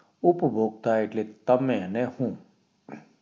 ઉપભોક્તા એટલે તમે ને હું